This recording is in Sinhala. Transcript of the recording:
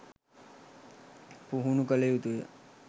පුහුණු කළ යුතු ය